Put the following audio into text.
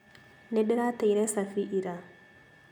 Nĩndĩrateire cabi ira